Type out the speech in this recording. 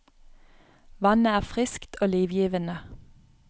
Vannet er friskt og livgivende.